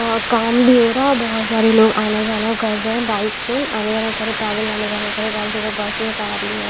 और काम भी हो रहा है बहोत सारे लोग आना जाना कर रहे हैं बाइक से आना जाना करे पैदल आना जाना करे बाइक से बसेस आ रही है।